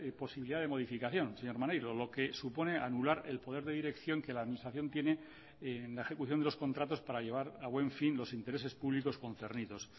posibilidad de modificación señor maneiro lo que supone anular el poder de dirección que la administración tiene en la ejecución de los contratos para llevar a buen fin los intereses públicos concernidos